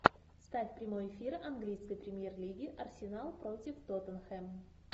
ставь прямой эфир английской премьер лиги арсенал против тоттенхэм